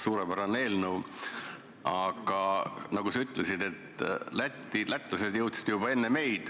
Suurepärane eelnõu, aga nagu sa ütlesid, lätlased jõudsid juba enne meid.